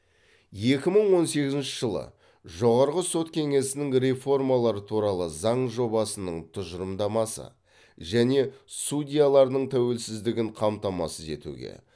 екі мың он сегізінші жылы жоғарғы сот кеңесінің реформалар туралы заң жобасының тұжырымдамасы және судьялардың тәуелсіздігін қамтамасыз етуге